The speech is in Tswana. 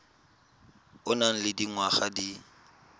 o nang le dingwaga di